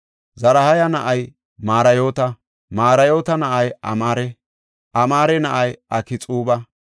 Zaraha na7ay Marayoota; Marayoota na7ay Amaare; Amaare na7ay Akxuuba;